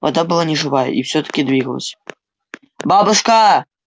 вода была неживая и всё-таки двигалась бабушка